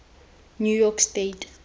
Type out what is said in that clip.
new york state